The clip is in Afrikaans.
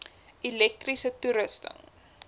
elektriese toerusting